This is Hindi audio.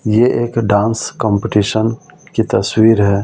ये एक डांस कंपटीशन की तस्वीर है।